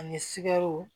Ani sigɛro